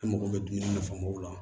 E mago bɛ dumuni nafamaw la